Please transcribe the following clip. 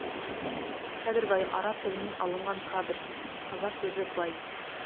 кәдірбаи араб тілінен алынған кадр қазақ сөзі бай